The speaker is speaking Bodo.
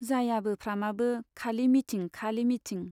जायाबो फ्रामाबो खालि मिटिं खालि मिटिं।